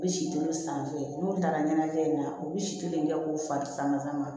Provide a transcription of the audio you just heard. U bɛ si tolo san n'u taara ɲɛnajɛ in na u bɛ si kelen kɛ k'u fa sama ka ma